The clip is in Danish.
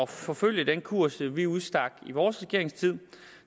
forfølge den kurs vi udstak i vores regeringstid